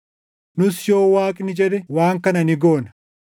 Nus yoo Waaqni jedhe waan kana ni goona.